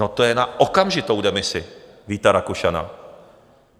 No, to je na okamžitou demisi Víta Rakušana.